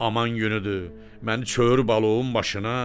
Aman günüdür, məni çövürü balum maşına.